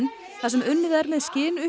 þar sem unnið er með